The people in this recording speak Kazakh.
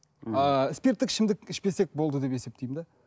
ыыы спирттік ішімдік ішпесек болды деп есептеймін де